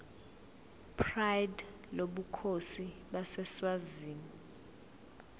pride lobukhosi baseswazini